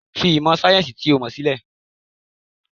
Fi ìmọ̀ sayẹ́nsi to mọ sílẹ̀!